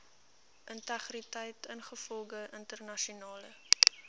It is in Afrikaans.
integriteit ingevolge internasionale